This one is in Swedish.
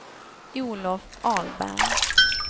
Olof Ahlberg